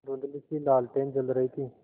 धुँधलीसी लालटेन जल रही थी